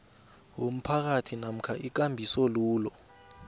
womphakathi namkha ikambisolwulo